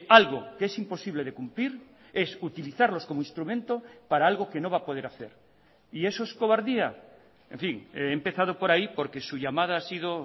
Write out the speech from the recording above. algo que es imposible de cumplir es utilizarlos como instrumento para algo que no va a poder hacer y eso es cobardía en fin he empezado por ahí porque su llamada ha sido